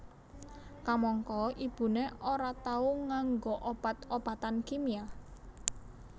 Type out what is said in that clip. Kamangka ibuné ora tau nganggo obat obatan kimia